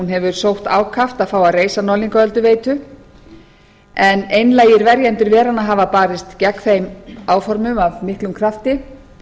hefur sótt ákaft að fá að reisa norðlingaölduveitu en einlægir verjendur veranna hafa barist gegn þeim áformum af miklum krafti